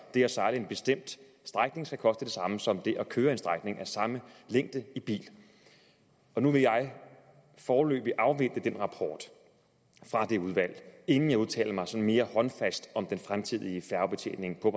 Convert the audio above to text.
det at sejle en bestemt strækning skal koste det samme som at køre en strækning på samme længde i bil og nu vil jeg foreløbig afvente den rapport fra det udvalg inden jeg udtaler mig mere håndfast om den fremtidige færgebetjening på